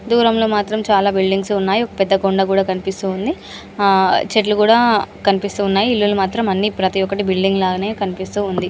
దూరంగా మాత్రం చాలా బిల్డింగ్స్ ఉన్నాయి. ఒక పెద్ద కొండ కూడా కనిపిస్తుంది. చెట్లు కూడా కనిపిస్తూ ఉన్నాయి. ఇళ్లులు మాత్రం అన్ని ప్రతి ఒకటి బిల్డింగ్ లానే కనిపిస్తూ ఉంది.